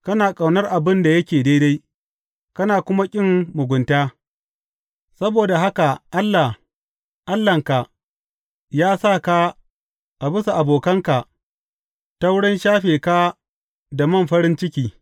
Kana ƙaunar abin da yake daidai kana kuma ƙin mugunta; saboda haka Allah, Allahnka, ya sa ka a bisa abokanka ta wurin shafe ka da man farin ciki.